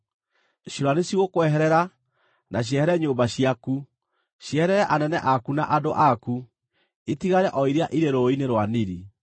Ciũra nĩcigũkweherera na ciehere nyũmba ciaku, cieherere anene aku na andũ aku; itigare o iria irĩ rũũĩ-inĩ rwa Nili.”